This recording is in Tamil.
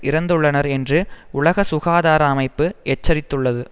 இறந்துள்ளனர் என்று உலக சுகாதார அமைப்பு எச்சரித்துள்ளது